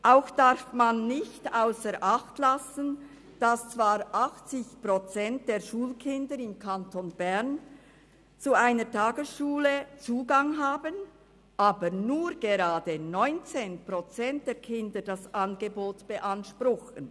Auch darf man nicht ausser Acht lassen, dass zwar 80 Prozent der Schulkinder im Kanton Bern Zugang zu einer Tagesschule haben, aber nur gerade 19 Prozent der Kinder das Angebot beanspruchen.